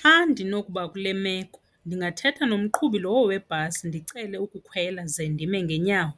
Xa ndinokuba kule meko ndingathetha nomqhubi lowo webhasi ndicele ukukhwela ze ndime ngeenyawo,